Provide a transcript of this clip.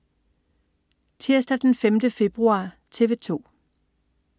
Tirsdag den 5. februar - TV 2: